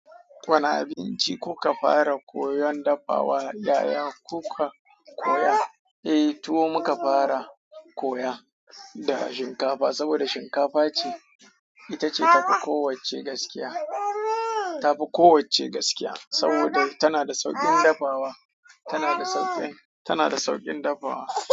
Wane abinci kuka fara koyon dafawa yayaka kuka koya? Eh, tuwo muka fara koya da shinkafa saboda shinkafa ce, ita ce tafi kowacce gaskiya, tafi kowacce gaskiya saboda tana da sauƙin dafawa, tana da sauƙin, tana da sauƙin dafawa.